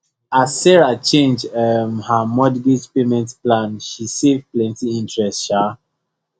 as sarah change um her mortgage payment plan she save plenty interest um